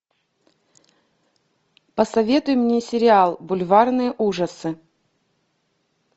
посоветуй мне сериал бульварные ужасы